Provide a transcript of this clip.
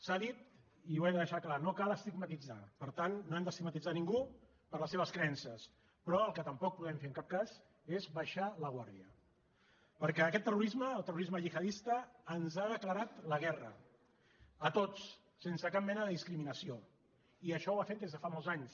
s’ha dit i ho he de deixar clar no cal estigmatitzar per tant no hem d’estigmatitzar ningú per les seves creences però el que tampoc podem fer en cap cas és baixar la guàrdia perquè aquest terrorisme el terrorisme gihadista ens ha declarat la guerra a tots sense cap mena de discriminació i això ho ha fet des de fa molts anys